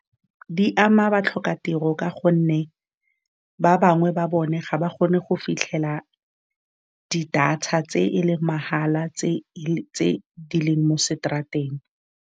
Di ama, ba tlhoka tiro ka gonne ba bangwe ba bone ga ba kgone go fitlhelela di data tse e leng mahala tse tse di leng mo seterateng.